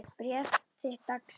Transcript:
Ég fékk bréf þitt dags.